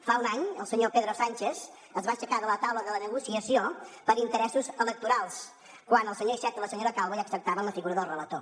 fa un any el senyor pedro sánchez es va aixecar de la taula de la negociació per interessos electorals quan el senyor iceta i la senyora calvo ja acceptaven la figura del relator